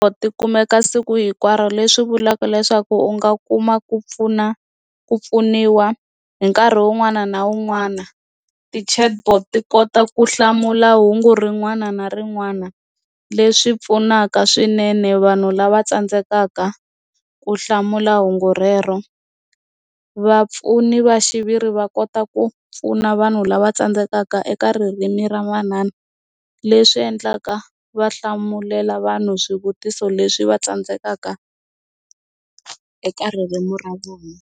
Tikumeka siku hinkwaro leswi vulaka leswaku u nga kuma ku pfuna ku pfuniwa hi nkarhi wun'wana na wun'wana ti-chatbot ti kota ku hlamula hungu rin'wana na rin'wana leswi pfunaka swinene vanhu lava tsandzekaka ku hlamula hungu rero vapfuni va xiviri va kota ku pfuna vanhu lava tsandzekaka eka ririmi ra manana leswi endlaka va hlamulela vanhu swivutiso leswi va tsandzekaka eka ririmi ra vona.